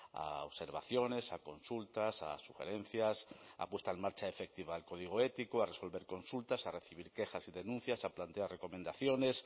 a observaciones a consultas a sugerencias a puesta en marcha efectiva del código ético a resolver consultas a recibir quejas y denuncias a plantear recomendaciones